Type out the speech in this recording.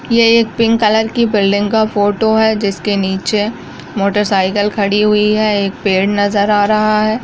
यह एक pink colour की बिल्डिंग का फ़ोटो है जिसके नीचे मोटर साइकिल खड़ी हुई है एक पेड़ नजर आ रहा है।